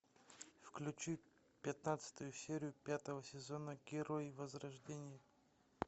включи пятнадцатую серию пятого сезона герои возрождения